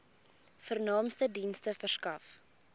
vernaamste dienste verskaf